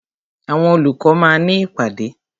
Àwọn olùkọ́ máa ní ìpàdé.